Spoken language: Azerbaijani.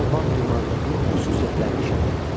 Alban memarlığının xüsusiyyətlərini şərh eləyin.